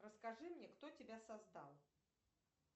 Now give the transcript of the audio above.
расскажи мне кто тебя создал